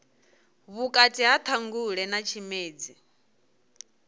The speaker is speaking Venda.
vhukati ha ṱhangule na tshimedzi